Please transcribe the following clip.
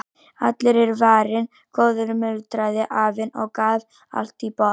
Allur er varinn góður muldraði afinn og gaf allt í botn.